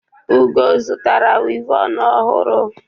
Ugo zụtara wivọnụ ọhụrụ.